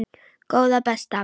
Góða besta!